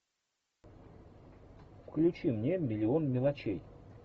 включи мне миллион мелочей